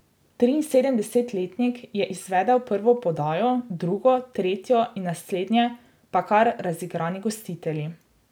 Triinsedemdesetletnik je izvedel prvo podajo, drugo, tretjo in naslednje pa kar razigrani gostitelji.